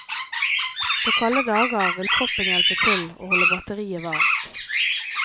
På kalde dager vil kroppen hjelpe til å holde batteriet varmt.